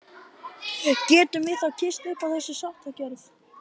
Getum við þá kysst upp á þessa sáttargjörð?